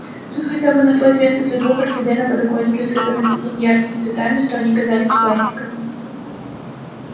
тут хотя бы нашлось место для двух орхидей на подоконнике усыпанных такими яркими цветами что они казались пластиковыми